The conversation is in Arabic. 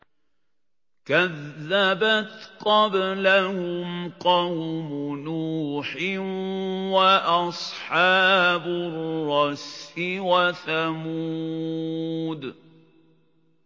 كَذَّبَتْ قَبْلَهُمْ قَوْمُ نُوحٍ وَأَصْحَابُ الرَّسِّ وَثَمُودُ